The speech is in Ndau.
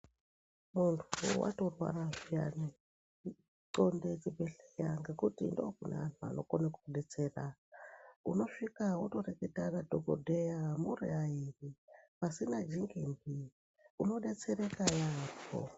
Muntu watorwara zviyani xonde chibhehleya ngokuti ndookuna vantu vanokone kukudetsera. Unosvika mwotorekata nadhogodheya muri airi, pasina dzinginzi, unodetsereka yaambo.